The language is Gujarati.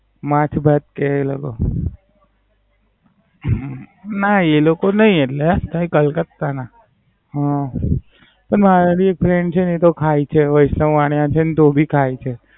માંછ-ભાત કે. ના, એ લોક નઈ એમના કલકત્તા ના. હમ ના એ ભી Friend છે એ તો ખાય છે વૈષ્ણવ વાણીયા છે ન તો પણ ખાય છે.